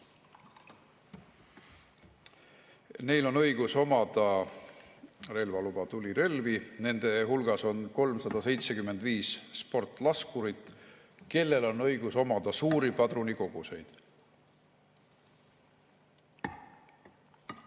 Neil on õigus omada relvaluba ja tulirelvi, nende hulgas on 375 sportlaskurit, kellel on õigus omada suuri padrunikoguseid.